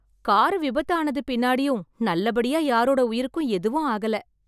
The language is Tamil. காரு விபத்து ஆனது பின்னாடியும் நல்லபடியா யாரோட உயிருக்கும் எதுவும் ஆகல.